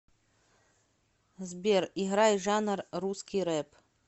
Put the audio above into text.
сбер играй жанр русский рэп